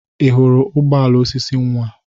Ị hụrụ ụgbọ ala osisi nwa?